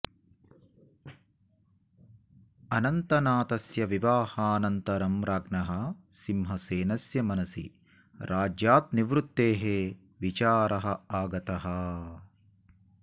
अनन्तनाथस्य विवाहानन्तरं राज्ञः सिंहसेनस्य मनसि राज्यात् निवृत्तेः विचारः आगतः